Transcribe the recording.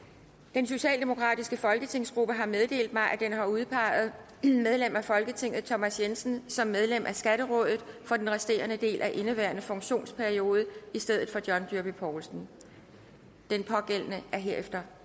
den socialdemokratiske folketingsgruppe har meddelt mig at den har udpeget medlem af folketinget thomas jensen som medlem af skatterådet for den resterende del af indeværende funktionsperiode i stedet for john dyrby paulsen den pågældende er herefter